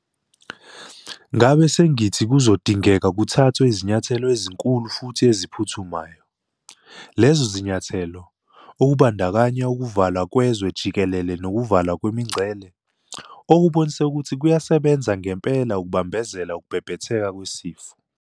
Ngabe sengithi kuzodingeka kuthathwe izinyathelo ezinkulu futhi eziphuthumayo. Lezo zinyathelo - okubandakanya ukuvalwa kwezwe jikelele nokuvalwa kwemingcele - okubonise ukuthi kuyasebenza ngempela ukubambezela ukubhebhetheka kwesifo.